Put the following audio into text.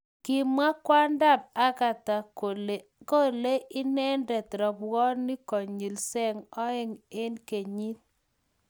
kimwa kwondab Agatha kole kolei inende robwoniek konyil seng oeng kenyit